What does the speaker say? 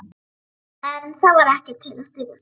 En það var ekkert til að styðjast við.